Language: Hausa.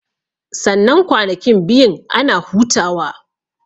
Sannan kwanakin biyun ana hutawa